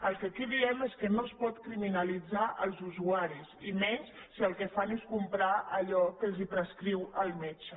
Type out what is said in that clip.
el que aquí diem és que no es pot criminalitzar els usuaris i menys si el que fan és comprar allò que els prescriu el metge